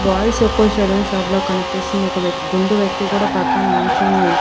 Boys యొక్క saloon shop లా కనిపిస్తుంది ఒక వ్యక్ గుండు వ్యక్తి కూడా పక్కనుంచొని.